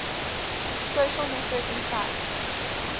social networking sites